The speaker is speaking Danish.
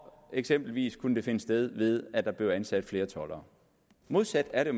eksempelvis kunne det finde sted ved at der blev ansat flere toldere modsat er det